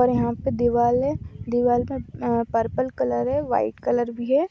और यहाँ पे दिवाल है दिवाल मैं अ पर्पल कलर है वाइट कलर भी है।